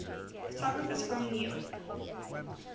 photographers from new york